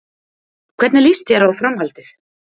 Hvernig líst þér á Framhaldið?